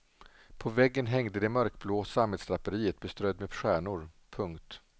På väggen hängde det mörkblåa sammetsdraperiet beströdd med stjärnor. punkt